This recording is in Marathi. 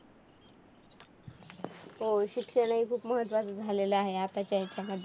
हो, शिक्षण हे खूप महत्त्वाचं झालेलं आहे आताच्या याच्यामध्ये.